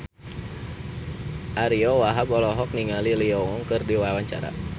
Ariyo Wahab olohok ningali Lee Yo Won keur diwawancara